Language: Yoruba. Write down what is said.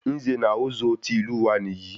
Nze na Ozo tí ìlú wa níyì